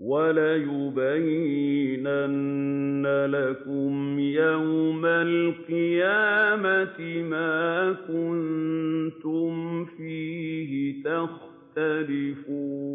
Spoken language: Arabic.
وَلَيُبَيِّنَنَّ لَكُمْ يَوْمَ الْقِيَامَةِ مَا كُنتُمْ فِيهِ تَخْتَلِفُونَ